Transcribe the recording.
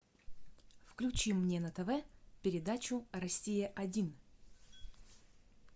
включи мне на тв передачу россия один